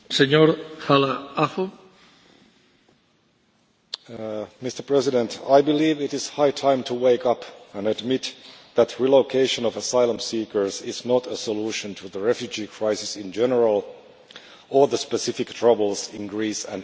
Mr President, I believe it is high time to wake up and admit that relocation of asylum seekers is not a solution to the refugee crisis in general or the specific troubles in Greece and Italy.